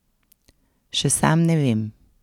Še sam ne vem.